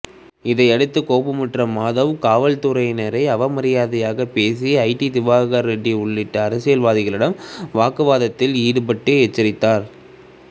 இதையடுத்து கோபமுற்ற மாதவ் காவல்துறையினரை அவரமரியாதையாக பேசிய ஜே டி திவாகர் ரெட்டி உள்ளிட்ட அரசியல்வாதிகளிடம் வாக்குவாதத்தில் ஈடுபட்டு எச்சரித்தார்